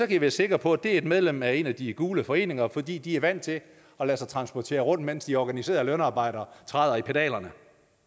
i være sikre på at det et medlem af en af de gule foreninger fordi de er vant til at lade sig transportere rundt mens de organiserede lønarbejdere træder i pedalerne